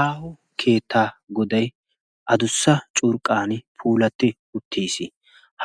Aaho keettaa goday curqaappe puulatidi uttis.